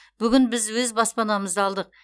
бүгін біз өз баспанамызды алдық